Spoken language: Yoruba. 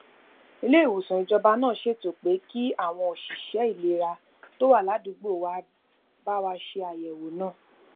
ilé ìwòsàn ìjọba náà ṣètò pé kí àwọn òṣìṣé ìlera tó wà ládùúgbò wa bá wa ṣe àyèwò náà